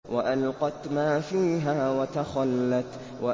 وَأَلْقَتْ مَا فِيهَا وَتَخَلَّتْ